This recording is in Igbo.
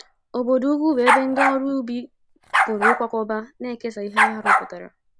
Obodo ukwu bụ ebe ndị ọrụ ubi pụrụ ịkwakọba na kesaa ihe ha rụpụtara.